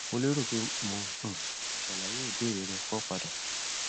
mo lérò pé mo um tí ṣàlàyé ìbéèrè rẹ kọ padà